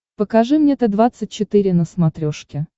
покажи мне т двадцать четыре на смотрешке